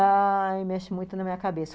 Ai, mexe muito na minha cabeça.